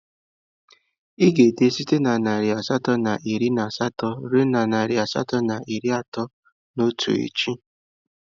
Ị ga-ede site na narị asatọ na iri na asatọ ruo narị asatọ na iri atọ na otu echi!